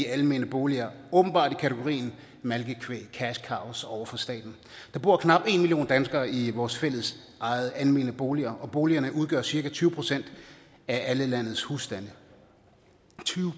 almene boliger åbenbart i kategorien malkekvæg cash cows over for staten der bor knap en million danskere i vores fællesejede almene boliger og boligerne udgør cirka tyve procent af alle landets husstande tyve